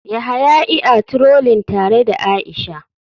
Yahaya ia trolling tare da aisha.